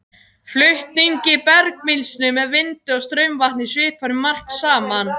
Flutningi bergmylsnu með vindi og straumvatni svipar um margt saman.